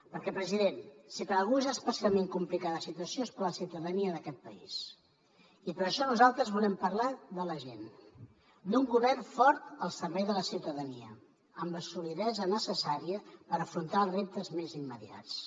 perquè president si per a algú és especialment complicada la situació és per a la ciutadania d’aquest país i per això nosaltres volem parlar de la gent d’un govern fort al servei de la ciutadania amb la solidesa necessària per afrontar els reptes més immediats